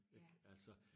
Ik altså